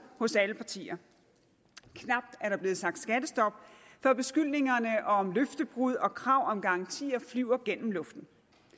hos alle partier knap er der blevet sagt skattestop før beskyldningerne om løftebrud og krav om garantier flyver gennem luften